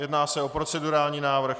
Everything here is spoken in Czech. Jedná se o procedurální návrh.